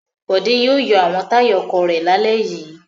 Bòdé yóò yọ àwọn táyà ọkọ̀ rẹ̀ lálẹ́ yìí.